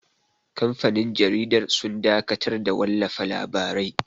Kamfanin jaridar sun dakatar da wallafa labarai